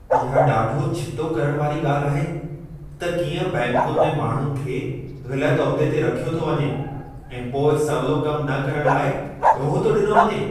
इहा ॾाढो छितो करण वारी ॻाल्हि आहे त कीअं बैंकुनि में माण्हुनि खे ग़लत उहिदे ते रखियो थो वञे ऐं पोइ सवलो कमु न करण लाइ ॾोह थो ॾिनो वञे।